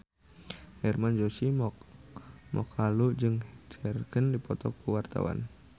Hermann Josis Mokalu jeung Cher keur dipoto ku wartawan